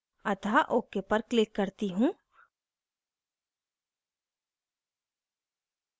अतः ok पर click करती हूँ